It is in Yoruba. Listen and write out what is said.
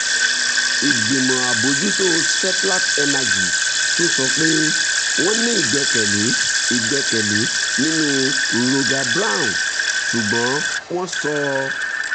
ìgbìmọ̀ àbójútó seplat energy tún sọ pé wọ́n ní ìgbẹ́kẹ̀lé ìgbẹ́kẹ̀lé nínú roger brown ṣùgbọ́n wọ́n sọ